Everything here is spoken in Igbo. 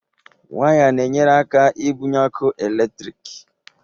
Waya na-enyere aka ibunye ọkụ eletrik